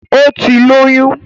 Ó ti lóyún